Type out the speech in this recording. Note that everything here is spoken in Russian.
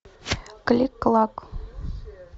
клик клак